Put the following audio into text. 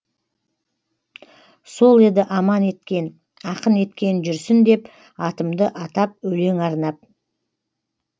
сол еді аман еткен ақын еткен жүрсін деп атымды атап өлең арнап